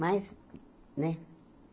Mas, né?